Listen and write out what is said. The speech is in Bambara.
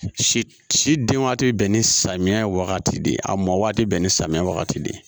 Si si si den waati bɛ bɛn ni samiyɛ wagati de ye a mɔw te bɛn ni samiya wagati de ye